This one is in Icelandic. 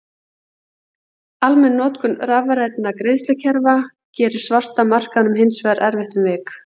Almenn notkun rafrænna greiðslukerfa gerir svarta markaðnum hins vegar erfiðara um vik.